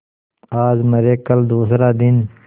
आज मरे कल दूसरा दिन